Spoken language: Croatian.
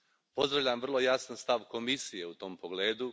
Pozdravljam vrlo jasan stav Komisije u tom pogledu.